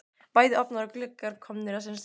Bæði ofnar og gluggar komnir á sinn stað.